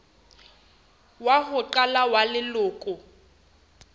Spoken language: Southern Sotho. wa ho qala wa leloko